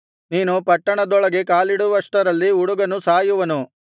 ನೀನು ಪಟ್ಟಣದೊಳಗೆ ಕಾಲಿಡುವಷ್ಟರಲ್ಲಿ ಹುಡುಗನು ಸಾಯುವನು